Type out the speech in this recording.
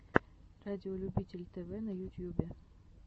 радиолюбитель тв на ютьюбе